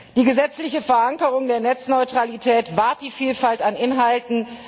Die gesetzliche Verankerung der Netzneutralität wahrt die Vielfalt an Inhalten.